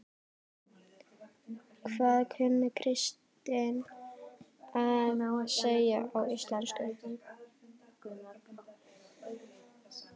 Hvað kunni Kristín að segja á íslensku?